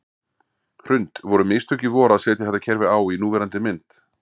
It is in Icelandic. Hrund: Voru mistök í vor að setja þetta kerfi á í núverandi mynd?